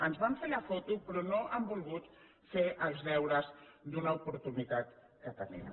ens van fer la foto però no han volgut fer els deures d’una oportunitat que tenien